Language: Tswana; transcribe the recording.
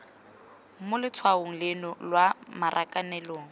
mo letshwaong leno lwa marakanelong